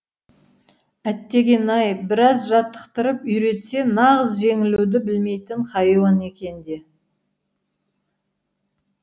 әттеген ай біраз жаттықтырып үйретсе нағыз жеңілуді білмейтін хайуан екен де